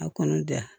A kɔni da